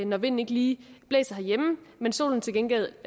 når vinden ikke lige blæser herhjemme men solen til gengæld